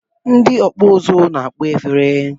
Ndị ọkpụ uzu na-akpọ efere